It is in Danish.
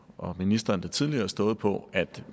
og ministeren da tidligere stået på at